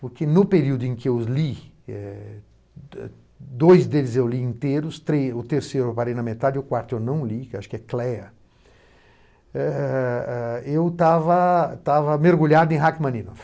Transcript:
Porque no período em que os li, eh do dois deles eu li inteiros, o terceiro parei na metade e o quarto eu não li, que acho que é Cleia, eh eh eu estava mergulhado em Rachmaninoff.